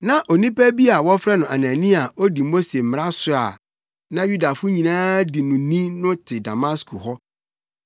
“Na Onipa bi a wɔfrɛ no Anania a odi Mose mmara so a na Yudafo nyinaa di no ni no te Damasko hɔ.